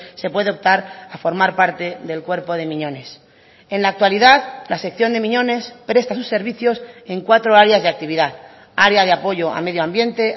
se puede optar a formar parte del cuerpo de miñones en la actualidad la sección de miñones presta sus servicios en cuatro áreas de actividad área de apoyo a medio ambiente